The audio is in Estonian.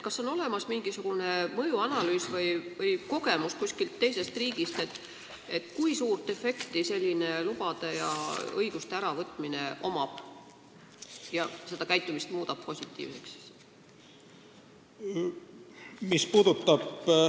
Kas on olemas mingisugune mõjuanalüüs või kogemus teisest riigist, kui suurt efekti selline lubade ja õiguste äravõtmine annab, mis ulatuses seda käitumist positiivseks muudab?